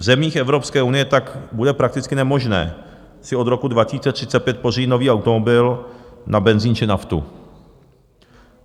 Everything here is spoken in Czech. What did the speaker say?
V zemích Evropské unie tak bude prakticky nemožné si od roku 2035 pořídit nový automobil na benzin či naftu.